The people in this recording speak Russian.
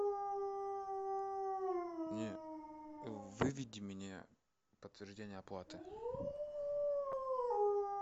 не выведи мне подтверждение оплаты